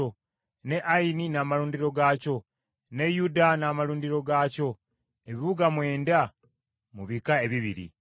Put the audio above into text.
ne Ayini n’amalundiro gaakyo ne Yuta n’amalundiro gaakyo ebibuga mwenda mu bika ebibiri.